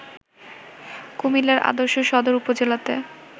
কুমিল্লার আদর্শ সদর উপজেলাতে